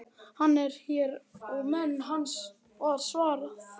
Hann er hér og menn hans, var svarað.